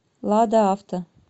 лада авто